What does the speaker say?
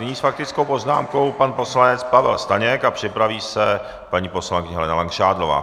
Nyní s faktickou poznámkou pan poslanec Pavel Staněk a připraví se paní poslankyně Helena Langšádlová.